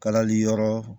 Kalali yɔrɔ